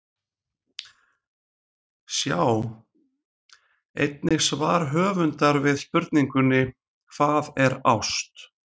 Sjá einnig svar höfundar við spurningunni Hvað er ást?